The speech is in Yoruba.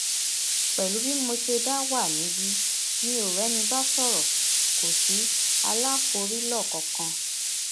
pẹlú bí mo sì ṣe dá wà níbi mi ò rẹni bá sọrọ kò sí aláfòrílò kankan